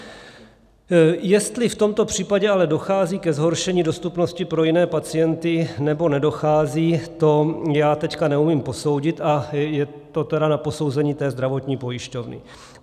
Jestli v tomto případě ale dochází ke zhoršení dostupnosti pro jiné pacienty, nebo nedochází, to já teď neumím posoudit, a je to tedy na posouzení té zdravotní pojišťovny.